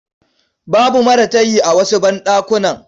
Babu maratayi a wasu banɗakunan.